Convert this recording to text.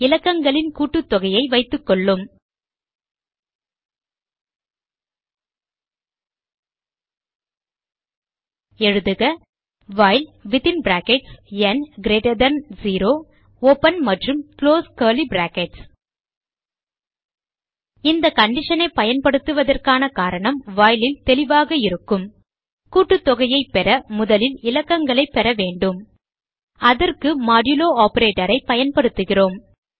இலக்கங்களின் கூட்டுத்தொகையை வைத்துக்கொள்ளும் எழுதுக while within brackets n greater than 0 open மற்றும் குளோஸ் கர்லி பிராக்கெட்ஸ் இந்த condition ஐ பயன்படுத்துவதற்கான காரணம் while ல் தெளிவாக இருக்கும் கூட்டுத்தொகையைப் பெற முதலில் இலக்கங்களைப் பெற வேண்டும் அதற்கு மாடுலோ operator ஐ பயன்படுத்துகிறோம்